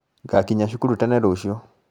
Ngakinya cukuru tene rũciũ